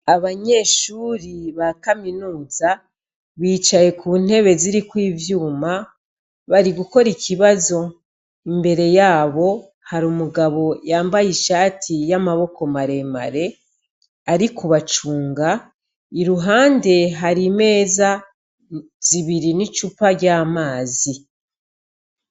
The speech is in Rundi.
Abanyeshuri ba kaminuza bicaye ku ntebe ziriko ivyuma bari gukora ikibazo, imbere yabo hari umugabo yambaye ishati y'amaboko maremare ari kubacunga, iruhande hari imeza zibiri n'icupa ry'amazi.